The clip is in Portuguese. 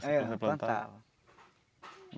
É, eu plantava.